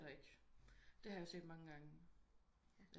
Nej det er der ikke det har jeg set mange gange